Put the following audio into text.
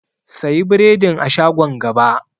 Sayi biredin a shagon gaba.